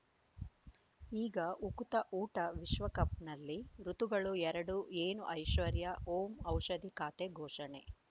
ಈಗ ಉಕುತ ಊಟ ವಿಶ್ವಕಪ್‌ನಲ್ಲಿ ಋತುಗಳು ಎರಡು ಏನು ಐಶ್ವರ್ಯಾ ಓಂ ಔಷಧಿ ಖಾತೆ ಘೋಷಣೆ